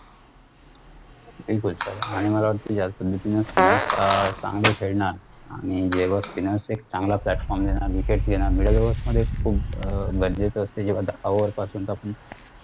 बिलकुल sir आणि मला वाटतंय कि या यापद्धतीने spinner चांगले खेळणार आणि जेव्हा spinner एक चांगला platform देणार wicket घेणार middle hours मध्ये खुप run rate असते जेव्हा over